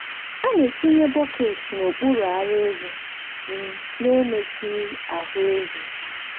a na-etinye bọket n’okpuru ara ehi um n’emetụghị ahụ ehi.